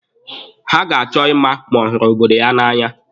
Ha ga-achọ ịma ma ọ hụrụ obodo ya na'anya.